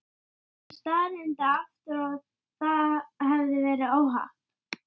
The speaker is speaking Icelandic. Ekkert, maður, ekkert.